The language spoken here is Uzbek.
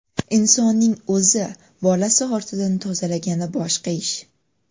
Insonning o‘zi bolasi ortidan tozalagani boshqa ish.